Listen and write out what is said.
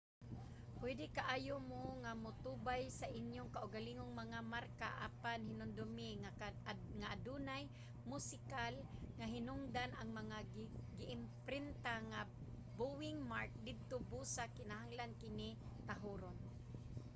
pwede kaayo mo nga motubay sa inyong kaugalingong mga marka apan hinumdumi nga adunay musikal nga hinungdan ang mga giimprinta nga bowing mark didto busa kinahanglan kini tahoron